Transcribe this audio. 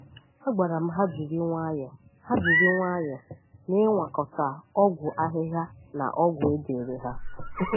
A gwara ha jiri nwayọ ha jiri nwayọ n’iṅwakọta ọgwụ ahịhịa na ọgwụ e dere ha.